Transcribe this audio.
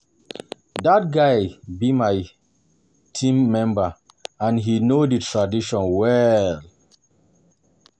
Dat guy be my team member and he no the traditions well